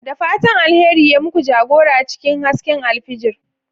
Da fatan alkhairi ya muku jagora cikin hasken alfijir.